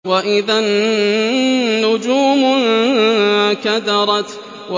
وَإِذَا النُّجُومُ انكَدَرَتْ